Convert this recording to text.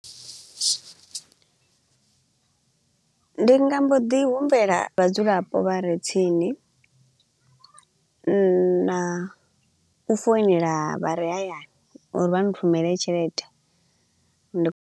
Ndi nga mbo ḓi humbela vhadzulapo vha re tsini na u founela vha re hayani uri vha nthumele tshelede ndi.